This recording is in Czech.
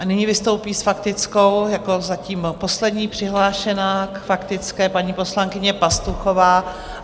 A nyní vystoupí s faktickou jako zatím poslední přihlášená k faktické paní poslankyně Pastuchová.